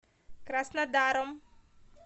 краснодаром